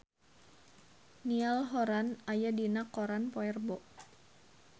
Niall Horran aya dina koran poe Rebo